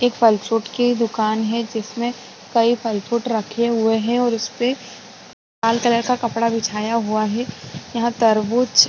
एक फल फ्रूट की दूकान है जिसमे कई फल फ्रूट रखे हुए है और इसपे लाल कलर का कपड़ा बिछाया हुआ है यहाँ तरबूज--